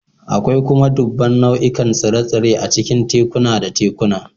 Akwai kuma dubban nau'ikan tsire-tsire a cikin tekuna da tekuna